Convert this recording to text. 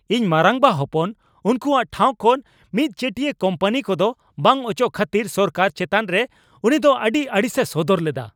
ᱤᱧ ᱢᱟᱨᱟᱝᱵᱟ ᱦᱚᱯᱚᱱ ᱩᱱᱠᱩᱣᱟᱜ ᱴᱷᱟᱶ ᱠᱷᱚᱱ ᱢᱤᱫᱪᱮᱴᱤᱭᱟ ᱠᱳᱢᱯᱟᱱᱤ ᱠᱚᱫᱚ ᱵᱟᱝ ᱚᱪᱚᱜ ᱠᱷᱟᱹᱛᱤᱨ ᱥᱚᱨᱠᱟᱨ ᱪᱮᱛᱟᱱᱨᱮ ᱩᱱᱤᱫᱚ ᱟᱹᱰᱤ ᱟᱹᱲᱤᱥᱮ ᱥᱚᱫᱚᱨ ᱞᱮᱫᱟ ᱾